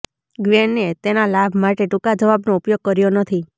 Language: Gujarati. ગ્વેનએ તેના લાભ માટે ટૂંકા જવાબનો ઉપયોગ કર્યો નથી